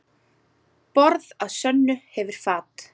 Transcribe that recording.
Borð að sönnu hefur fat.